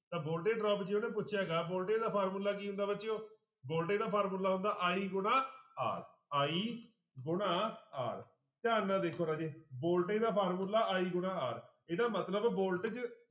ਤਾਂ ਜੇ ਉਹਨੇ ਪੁੱਛਿਆ ਗਾ ਵੋਲਟੇ ਦਾ ਫਾਰਮੂਲਾ ਕੀ ਹੁੰਦਾ ਬੱਚਿਓ ਵੋਲਟੇ ਦਾ ਫਾਰਮੂਲਾ ਹੁੰਦਾ i ਗੁਣਾ r, i ਗੁਣਾ r ਧਿਆਨ ਨਾਲ ਦੇਖਿਓ ਰਾਜੇ ਵੋਲਟੇ ਦਾ ਫਾਰਮੂਲਾ i ਗੁਣਾ r ਇਹਦਾ ਮਤਲਬ voltage